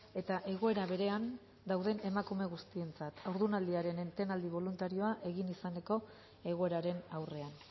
eta egoera berean dauden emakume guztientzat haurdunaldiaren etenaldi boluntarioa egin izaneko egoeraren aurrean